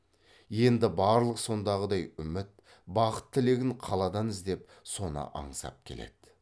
енді бірақ сондағыдай үміт бақыт тілегін қаладан іздеп соны аңсап келеді